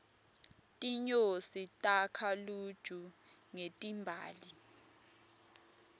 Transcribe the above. tinyosi takha luju ngetimbali